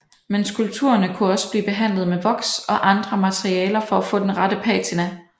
Men skulpturerne kunne også blive behandlet med voks og andre materialer for at få den rette patina